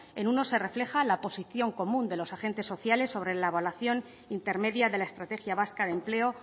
en uno se refleja la posición común de los agentes sociales sobre la evaluación intermedia de la estrategia vasca de empleo